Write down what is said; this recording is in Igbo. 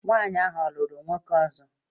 Nwanyị ahụ ọ̀ lụrụ nwoke ọzọ?